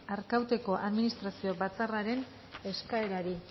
arkauteko administrazio batzarraren eskaerari